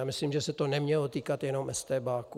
A myslím, že se to nemělo týkat jenom estébáků.